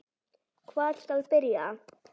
Hvar skal byrja?